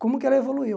Como que ela evoluiu?